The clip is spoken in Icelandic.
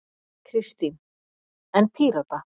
Kristín: En Pírata?